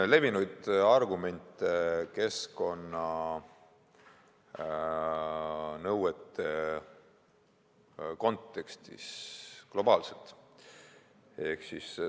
See on keskkonnanõuete kontekstis üks globaalselt levinud argumente.